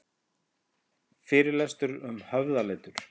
Fyrirlestur um höfðaletur